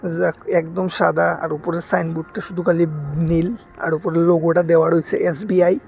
যাক একদম সাদা আর উপরের সাইনবোর্ডটি সুদু খালি নীল আর উপরে লোগোটা দেওয়া রইসে এস_বি_আই ।